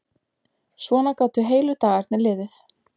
Svona gátu heilu dagarnir liðið.